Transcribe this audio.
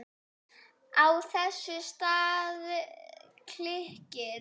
Á þessum stað klykkir